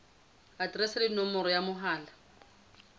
aterese le nomoro ya mohala